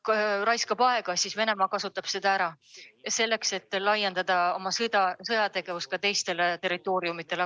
Kui Euroopa raiskab aega, siis Venemaa kasutab seda ära selleks, et laiendada oma sõjategevust ka teistele territooriumidele.